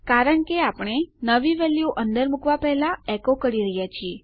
કારણ એ છે કે આપણે નવી વેલ્યુ અંદર મુકવા પહેલા આ એકો કરી રહ્યાં છીએ